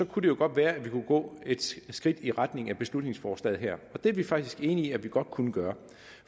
kunne det jo godt være at vi kunne gå et skridt i retning af beslutningsforslaget her det er vi faktisk enig i at vi godt kunne gøre